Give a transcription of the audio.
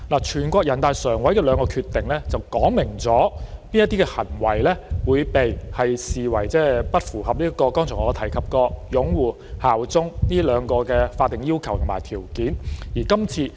全國人民代表大會常務委員會的兩項決定，訂明某些行為會被視為不符合我剛才提及的兩個法定要求和條件，即"擁護"和"效忠"。